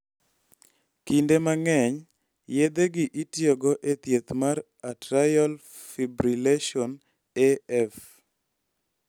Kinde mang�eny, yedhegi itiyogo e thieth mar atrial fibrillation (AF).